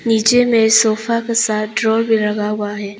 नीचे में सोफा के साथ ड्रॉर भी लगा हुआ है।